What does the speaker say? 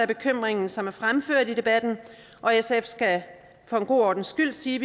bekymringer som er fremført i debatten og sf skal for god ordens skyld sige